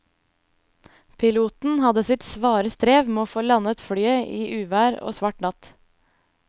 Piloten hadde sitt svare strev med å få landet flyet i uvær og svart natt.